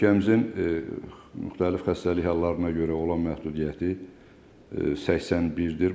Ölkəmizin müxtəlif xəstəlik hallarına görə olan məhdudiyyəti 81-dir.